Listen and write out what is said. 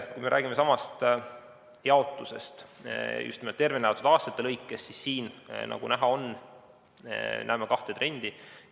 Kui me räägime samast jaotusest just nimelt tervena elatud aastate mõttes, siis siin, nagu näha, on kaks trendi.